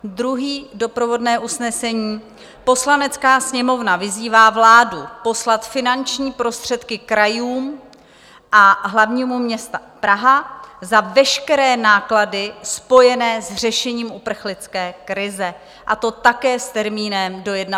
Druhé doprovodné usnesení: Poslanecká sněmovna vyzývá vládu poslat finanční prostředky krajům a hlavnímu městu Praha za veškeré náklady spojené s řešením uprchlické krize, a to také s termínem do 31. května